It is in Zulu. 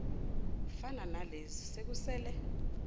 fana nalezi sekusele